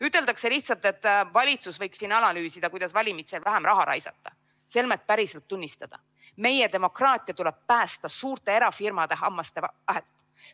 Üteldakse lihtsalt, et valitsus võiks siin analüüsida, kuidas valimisteks vähem raha raisata, selmet päriselt tunnistada: meie demokraatia tuleb päästa suurte erafirmade hammaste vahelt.